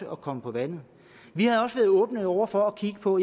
at komme på vandet vi havde også været åbne over for at kigge på